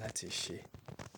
láti ṣe.